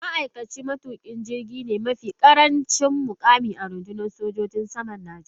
Ma’aikacin matukin jirgi ne mafi karancin mukami a rundunar sojin saman Najeriya.